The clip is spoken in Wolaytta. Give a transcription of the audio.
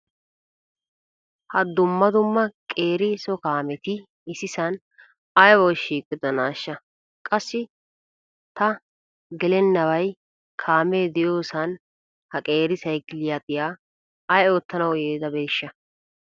Ha dumma dumma qeeri so kaameti issisan aybawu shiqqidonaasha? Qassi ta gelennabay kaamee diyosan ha qeeri saykiliya ay oottanawu yiidabeeshsha?